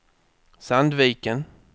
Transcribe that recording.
Sandviken